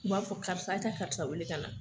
U b'a fɔ karisa e ka karisa weele ka na